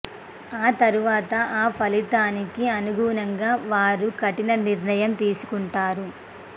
ఆ తరువాత ఆ ఫలితానికి అనుగుణంగా వారు కఠిన నిర్ణయం తీసుకుంటారు